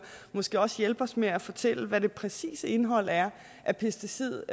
måske også hjælpe os med at fortælle hvad det præcise indhold er af pesticider